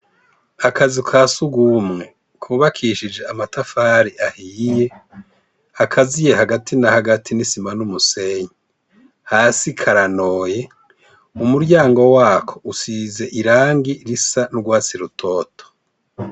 Akazi ka sugumwe kubakishije amatafari ahiye akaziye hagati na hagati n'i sima n'umusenyi hasi karanoye umuryango wako usize irangi risa n’urwatsi rutoto.